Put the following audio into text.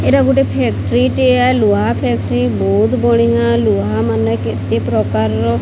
ଏଟା ଗୋଟେ ଫ୍ୟାକ୍ଟ୍ରି ଟେ ଲୁହା ଫ୍ୟାକ୍ଟ୍ରି ବହୁତ ବଡ଼ିଆ ଲୁହା ମାନେ କେତେ ପ୍ରକାର --